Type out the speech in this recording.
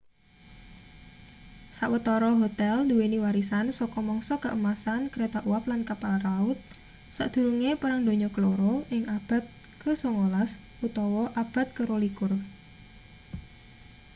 sawetara hotel duweni warisan saka mangsa keemasan kereta uap lan kapal laut sakdurunge perang donya keloro ing abad ke 19 utawa awal abad ke 20